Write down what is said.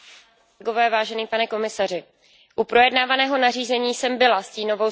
U projednávaného nařízení jsem byla stínovou zpravodajkou pro stanovisko výboru ENVI.